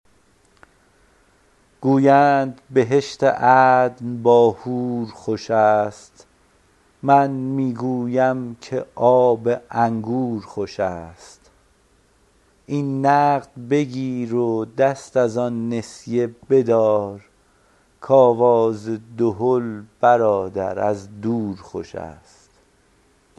گویند بهشت عدن با حور خوش است من می گویم که آب انگور خوش است این نقد بگیر و دست از آن نسیه بدار کآواز دهل شنیدن از دور خوش است